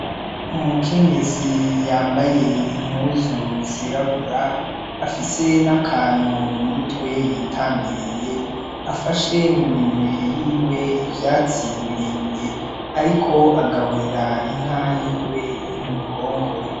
Umukenyezi y'ambaye impuzu z'irabura afise n'akantu mu mutwe y'itandiriye, afashe mu minwe yiwe ivyatsi birebire. Ariko agaburira inka yiwe iri muruhongore.